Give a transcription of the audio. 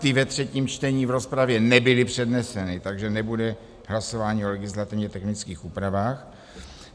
Ty ve třetím čtení v rozpravě nebyly předneseny, takže nebude hlasování o legislativně technických úpravách.